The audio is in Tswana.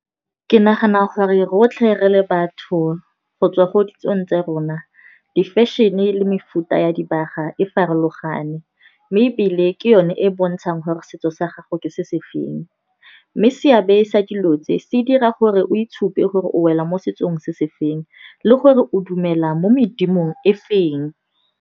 Ke nagana gore rotlhe re le batho go tswa Ko ditsong tsa rona, di fashion-e, le mefuta ya dibaga e farologane. Mme ebile ke yone e e bontshang gore setso sa gago ke se se feng. Mme seabe sa dilo tse, se dira gore o itshupe gore o wela mo setsong se se feng le gore o dumela mo medimo e e feng.